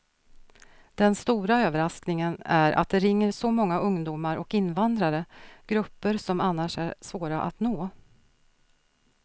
Den stora överraskningen är att det ringer så många ungdomar och invandrare, grupper som annars är svåra att nå.